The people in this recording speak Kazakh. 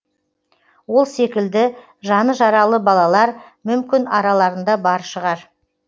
ол секілді жаны жаралы балалар мүмкін араларында бар шығар